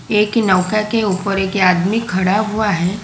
एक नौका के ऊपर एक आदमी खड़ा हुआ है।